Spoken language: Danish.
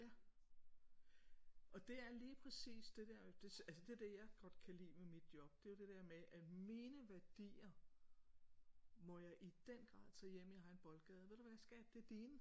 Ja og det er lige præcis det der med altså det jeg godt kan lide med mit job det er jo det der med at mine værdier må jeg i den grad tage hjem i egen boldgade ved du hvad skat det er dine